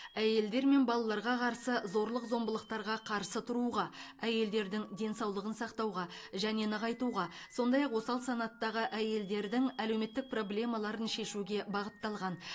әйелдер мен балаларға қарсы зорлық зомбылықтарға қарсы тұруға әйелдердің денсаулығын сақтауға және нығайтуға сондай ақ осал санаттағы әйелдердің әлеуметтік проблемаларын шешуге бағытталған